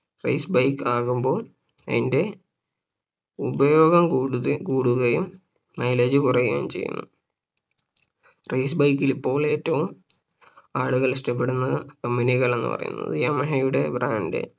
Race bike ആകുമ്പോ അതിന്റെ ഉപയോഗം കൂടുത കൂടുകയും Mileage കുറയുകയും ചെയ്യുന്നു Race bike ൽ ഇപ്പോൾ ഏറ്റവും ആളുകൾ ഇഷ്ട്ടപ്പെടുന്ന company കൾ എന്ന് പറയുന്നത് യമഹയുടെ Brand